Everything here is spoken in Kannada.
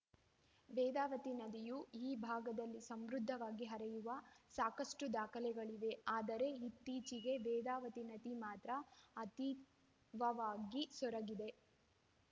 ವೇದಾವತಿ ನದಿಯೂ ಈ ಭಾಗದಲ್ಲಿ ಸಮೃದ್ಧವಾಗಿ ಹರಿಯುವ ಸಾಕಷ್ಟುದಾಖಲೆಗಳಿವೆ ಆದರೆ ಇತ್ತೀಚೆಗೆ ವೇದಾವತಿ ನದಿ ಮಾತ್ರ ಅತೀವವಾಗಿ ಸೊರಗಿದೆ